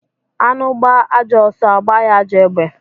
Anụ gbaa ajọ ọsọ agba ya ajọ egbe